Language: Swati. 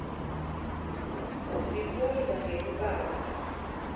sifunza nekubata